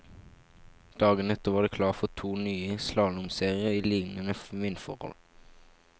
Dagen etter var det klart for to nye slalåmserier i liknende vindforhold.